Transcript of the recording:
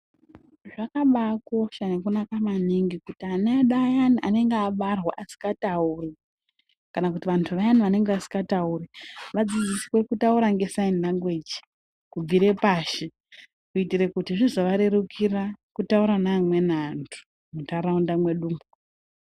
Zvakamba kosha nekunaka maningi kuti ana edu ayani anenge abarwa asingatauri kana kuti vantu vayani vanenge vasingatauri vadzidziswe kutaura ngesaini langweji kubvire pashi kuitire kuti zvizova rerukira kutaura nevamweni vantu mundaraunda mwedu umwu.